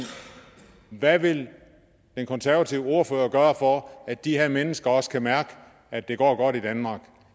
hvad vil den konservative ordfører gøre for at de her mennesker også kan mærke at det går godt i danmark